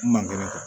Mange